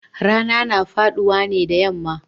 Rana na faduwa ne da yamma